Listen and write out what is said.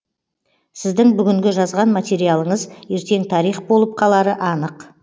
сіздің бүгінгі жазған материалыңыз ертең тарих болып қалары анық